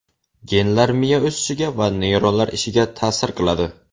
Genlar miya o‘sishiga va neyronlar ishiga ta’sior qiladi.